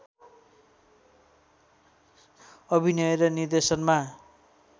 अभिनय र निर्देशनमा